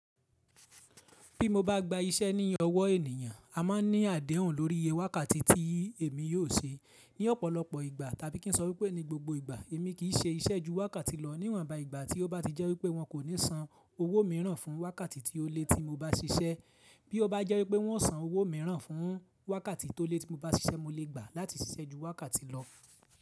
Bí mo bá gba iṣẹ́ ní ọwọ́ ènìyàn, a máa ní àdéhùn lórí iye wákàtí tí èmi yóò ṣe. Ní ọ̀pọ̀lọpọ̀ ìgbà, tàbí kí n sọ wípé ní gbogbo ìgbà, èmi kì í ṣe iṣẹ́ ju wákàtí lọ, níwọ̀nba ìgbà tí ó bá ti jẹ́ wípé wọn kò ní san owó mìíràn fún wákàtí ti ó le tí mo bá ṣiṣẹ́. Bí ó bá jẹ́ wípé wọn ó san owó mìíràn fún wákàtí tó le tí mo bá ṣiṣẹ́, mo lè gbà láti ṣiṣẹ́ ju wákàtí lọ.